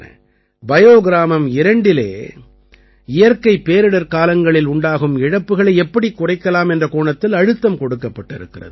bio கிராமம் 2இலே இயற்கைப் பேரிடர்க்காலங்களில் உண்டாகும் இழப்புக்களை எப்படிக் குறைக்கலாம் என்ற கோணத்தில் அழுத்தம் கொடுக்கப்பட்டிருக்கிறது